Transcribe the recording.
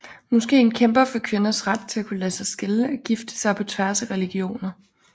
Moskeen kæmper for kvinders ret til at kunne lade sig skille og gifte sig på tværs af religioner